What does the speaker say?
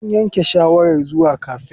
Sun yanke shawarar zuwa cafe.